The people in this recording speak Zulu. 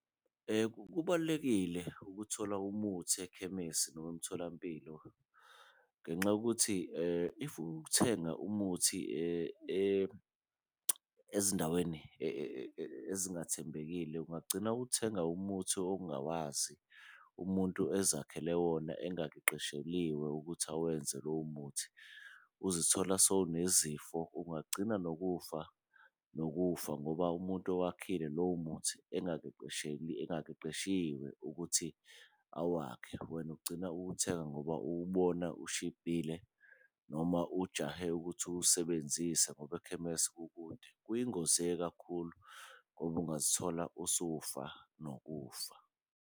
Kubalulekile ukuthola umuthi ekhemisi noma emtholampilo ngenxa yokuthi if uthenga umuthi ezindaweni ezingathembekile, ungagcina uthenga umuthi ongawazi umuntu ezakhele wona. Engaqesheliwe ukuthi awenze lowo muthi, uzithola sowunezifo ungagcina nokufa nokufa ngoba umuntu owakhokhile lowo muthi engaqeqeshiwe ukuthi awakhe. Wena ugcina uwuthenga ngoba uwubona ushibhile noma ujahe ukuthi uwusebenzise ngoba ekhemesi kukude, kuyingozi-ke kakhulu ngoba ungazithola usufa nokufa.